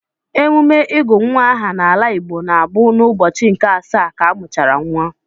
Emume ịgụ nwa aha n'ala Igbo na-abụ n'ụbọchị nke asaa ka a mụchara nwa.